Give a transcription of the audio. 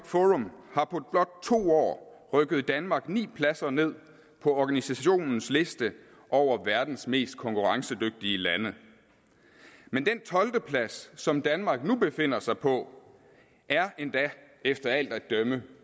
forum har på blot to år rykket danmark ni pladser ned på organisationens liste over verdens mest konkurrencedygtige lande men den tolvte plads som danmark nu befinder sig på er endda efter alt at dømme